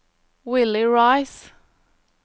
Willy Riise